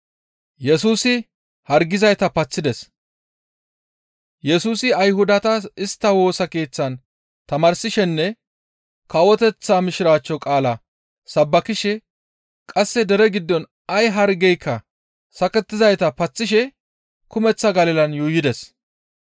Yesusi Ayhudata istta Woosa Keeththan tamaarsishenne kawoteththa Mishiraachcho qaala sabbakishe qasse dere giddon ay hargeyka sakkizayta paththishe kumeththa Galilan yuuyides.